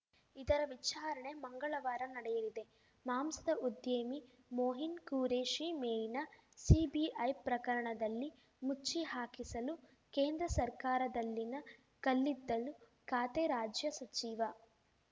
ಇದರ ವಿಚಾರಣೆ ಮಂಗಳವಾರ ನಡೆಯಲಿದೆ ಮಾಂಸದ ಉದ್ಯಮಿ ಮೊಯಿನ್‌ ಖುರೇಷಿ ಮೇಲಿನ ಸಿಬಿಐ ಪ್ರಕರಣದಲ್ಲಿ ಮುಚ್ಚಿ ಹಾಕಿಸಲು ಕೇಂದ್ರ ಸರ್ಕಾರದಲ್ಲಿನ ಕಲ್ಲಿದ್ದಲು ಖಾತೆ ರಾಜ್ಯ ಸಚಿವ